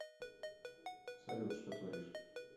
салют что творишь